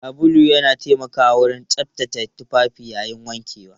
Sabulu yana taimakawa wajen tsaftace tufafi yayin wankewa.